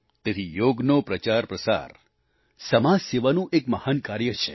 તેથી યોગનો પ્રચારપ્રસાર સમાજ સેવાનું એક મહાન કાર્ય છે